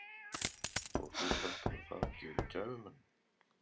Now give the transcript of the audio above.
Og þú heldur það geri gæfumuninn?